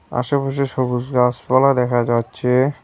আশেপাশে সবুজ গাছপালা দেখা যাচ্ছে।